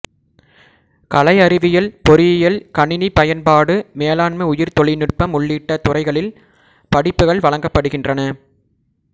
கலை அறிவியல் பொறியியல் கணினிப் பயன்பாடு மேலாண்மை உயிரித் தொழில்நுட்பம் உள்ளிட்ட துறைகளில் படிப்புகள் வழங்கப்படுகின்றன